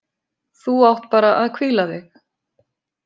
Þú átt bara að hvíla þig!